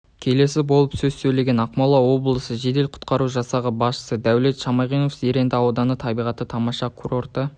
келесі болып сөз сөйлеген ақмола облысы жедел-құтқару жасағы басшысы дәулет шамиғанов зеренді ауданы табиғаты тамаша курорты